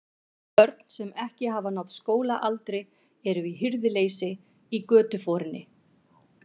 Börn, sem ekki hafa náð skólaaldri, eru í hirðuleysi í götuforinni.